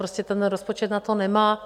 Prostě ten rozpočet na to nemá.